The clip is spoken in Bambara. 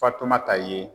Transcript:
Fatumata ye